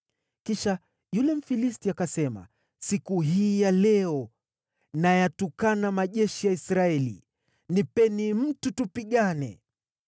Kisha yule Mfilisti akasema, “Siku hii ya leo nayatukana majeshi ya Israeli! Nipeni mtu tupigane.”